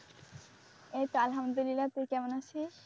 এইতো আলহামদুলিল্লাহ তুই কেমন আছিস?